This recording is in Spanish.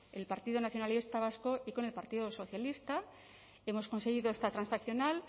el partido nacionalista vasco y con el partido socialista hemos conseguido esta transaccional